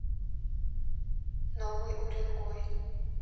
новый уренгой